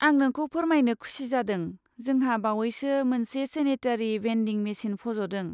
आं नोंखौ फोरमायनो खुसि जादों जोंहा बावैसो मोनसे सेनेटेरि भेन्डिं मेसिन पज'दों।